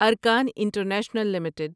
ارکان international limited